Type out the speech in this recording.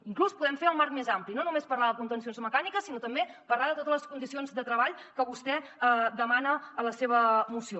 inclús podem fer el marc més ampli no només parlar de contencions mecàniques sinó també parlar de totes les condicions de treball que vostè demana a la seva moció